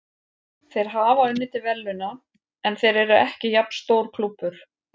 Þeir hafa unnið til verðlauna, en þeir eru ekki jafn stór klúbbur.